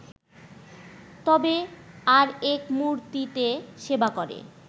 তবে ‘আর এক মূর্তি’তে সেবা করে